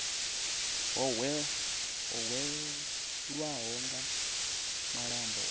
vho hwelwaho nga malombo a